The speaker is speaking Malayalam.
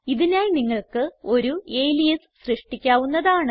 ഇതിനായി നിങ്ങൾക്ക് ഒരു അലിയാസ് സൃഷ്ടിക്കാവുന്നതാണ്